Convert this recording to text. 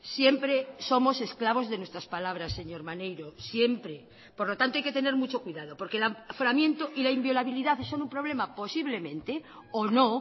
siempre somos esclavos de nuestras palabras señor maneiro siempre por lo tanto hay que tener mucho cuidado porque el aforamiento y la inviolabilidad son un problema posiblemente o no